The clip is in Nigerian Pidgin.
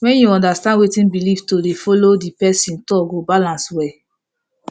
wen you understand wetin believe to dey follow the person talk go balance well